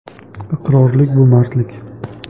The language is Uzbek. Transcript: Iqrorlik bu mardlik.